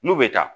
N'u bɛ taa